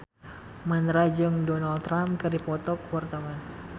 Mandra jeung Donald Trump keur dipoto ku wartawan